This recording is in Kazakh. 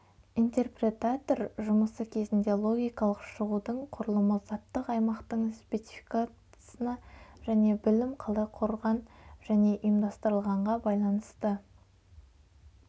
интерпретатор жұмысы кезінде логикалық шығудың құрылымы заттық аймақтын спецификасына және білім қалай құрыған және ұйымдастырылғанға байланысты